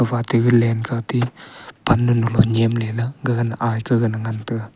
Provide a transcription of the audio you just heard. fati galen kah pannu nulo nyemle lah gagan aikah gana ngan taga.